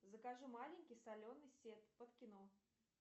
закажи маленький соленый сет под кино